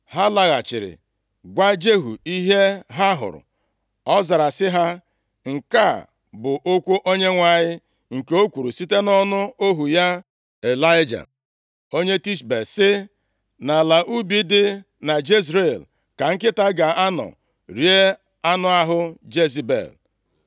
Ha laghachiri gwa Jehu ihe ha hụrụ. Ọ zara sị ha, “Nke a bụ okwu Onyenwe anyị, nke o kwuru site nʼọnụ ohu ya Ịlaịja onye Tishbe sị: ‘Nʼala ubi dị na Jezril ka nkịta ga-anọ rie anụ ahụ Jezebel.